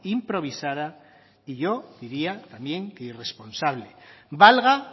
improvisada y yo diría también que irresponsable valga